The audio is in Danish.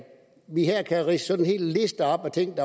vi her kan ridse en hel liste op med ting